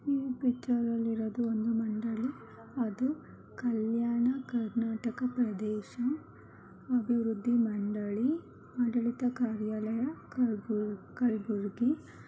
ಈ ಪಿಕ್ಟರಲ್ಲಿ ಇರೋದು ಒಂದು ಮಂಡಳಿ ಅದು ಕಲ್ಯಾಣ ಕರ್ನಾಟಕ ಪ್ರದೇಶ ಅಭಿವೃದ್ಧಿ ಮಂಡಳಿ ಆಡಳಿತ ಕಾರ್ಯಾಲಯ ಕಲಬುರ್ಗಿ.